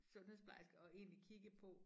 Sundhedsplejerske og egentlig kigge på